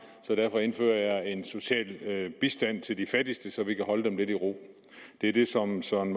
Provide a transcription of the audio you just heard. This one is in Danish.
så derfor indfører jeg en social bistand til de fattigste så vi kan holde dem lidt i ro det er det som søren